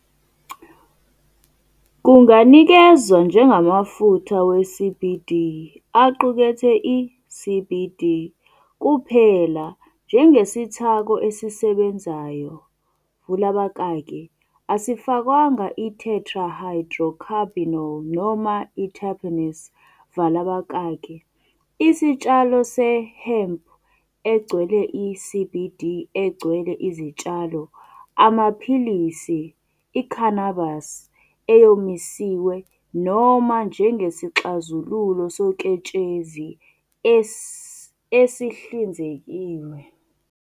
Kunganikezwa njengamafutha we-CBD aqukethe i-CBD kuphela njengesithako esisebenzayo vula abakaki asifakwanga i-tetrahydrocannabinol noma i-terpenes vala abakaki, isitshalo se-hemmp egcwele i-CBD egcwele izitshalo, amaphilisi, i-cannabis eyomisiwe, noma njengesixazululo soketshezi esihlinzekiwe.